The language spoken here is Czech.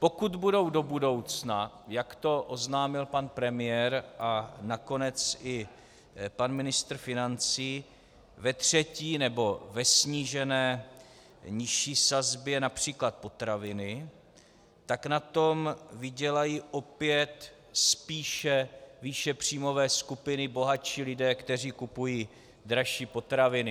Pokud budou do budoucna, jak to oznámil pan premiér a nakonec i pan ministr financí, ve třetí nebo ve snížené nižší sazbě například potraviny, tak na tom vydělají opět spíše výše příjmové skupiny, bohatší lidé, kteří kupují dražší potraviny.